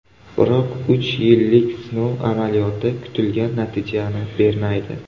Biroq uch yillik sinov amaliyoti kutilgan natijani bermaydi.